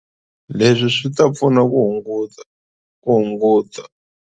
Leswi swi ta pfuna ku hunguta.